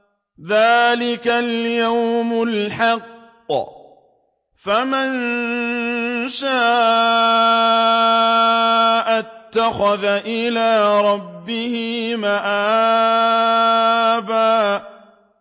ذَٰلِكَ الْيَوْمُ الْحَقُّ ۖ فَمَن شَاءَ اتَّخَذَ إِلَىٰ رَبِّهِ مَآبًا